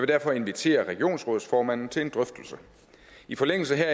derfor invitere regionsrådsformanden til en drøftelse i forlængelse